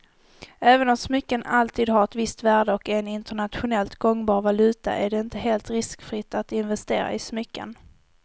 Även om smycken alltid har ett visst värde och är en internationellt gångbar valuta är det inte helt riskfritt att investera i smycken.